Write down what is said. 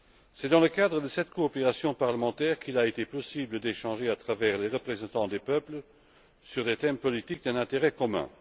C'est dans le cadre de cette coopération parlementaire qu'il a été possible d'échanger, à travers les représentants des peuples, sur des thèmes politiques d'un intérêt commun.